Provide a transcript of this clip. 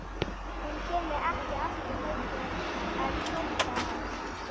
Hún kæmi ekki aftur heim fyrr en kvöldaði.